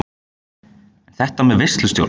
En þetta með veislustjórann?